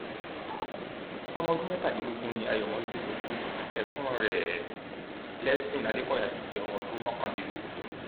ọmọ ọdún mẹtàdínlógún ni ayomosde tó kù yìí ẹgbọn rẹ blessing adékọyà ṣì jẹ ọmọ ọdún mọkàndínlógún